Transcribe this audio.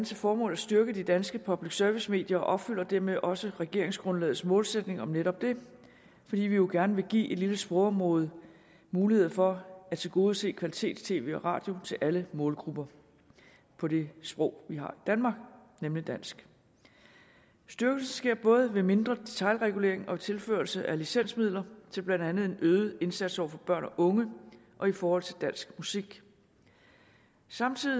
til formål at styrke de danske public service medier og opfylder dermed også regeringsgrundlagets målsætning om netop det fordi vi jo gerne vil give et lille sprogområde mulighed for at tilgodese kvalitets tv og radio til alle målgrupper på det sprog vi har i danmark nemlig dansk styrkelsen sker både ved mindre detailregulering og tilførelse af licensmidler til blandt andet en øget indsats over for børn og unge og i forhold til dansk musik samtidig